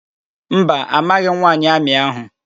Mba, amaghị m nwaanyị amị áhụ̀.